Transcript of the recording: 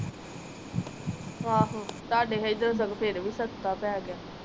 ਆਹ ਤਾਡੇ ਏਧਰ ਸਗੋਂ ਫੇਰ ਵੀ ਸਸਤਾ ਪੈ ਗਿਆ